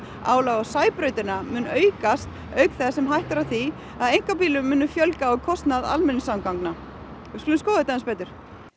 álagið á Sæbrautina mun aukast auk þess sem hætta er á því að einkabílum muni fjölga á kostnað almenningssamgangna en skoðum þetta aðeins betur